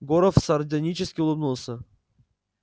горов сардонически улыбнулся